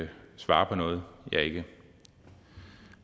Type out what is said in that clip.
ikke svare på noget jeg ikke